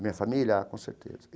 Minha família, com certeza.